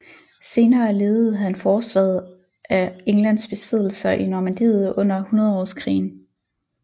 Senere ledede han forsvaret af Englands besiddelser i Normandiet under Hundredårskrigen